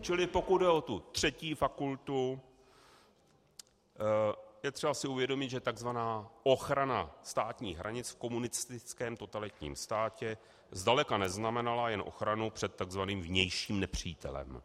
Čili pokud jde o tu třetí fakultu, je třeba si uvědomit, že tzv. ochrana státních hranic v komunistickém totalitním státě zdaleka neznamenala jen ochranu před tzv. vnějším nepřítelem,